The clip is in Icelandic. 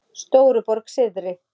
Stóruborg syðri